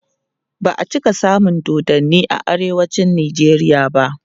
ba'a cika samun dodanni a arewacin nijeriya ba